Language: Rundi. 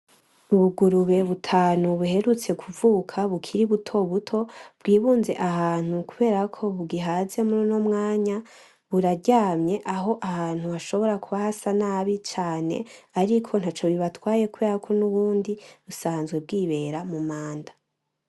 Ubugurube butanu buherutse kuvuka bukiri butobuto bwibunze ahantu kubera ko bugihaze mur'uno mwanya, buraryamye aho ahantu hashobora kuba hasa nabi cane ariko ntaco bibatwaye kubera ko nubundi busanzwe bwibera mu mwanda.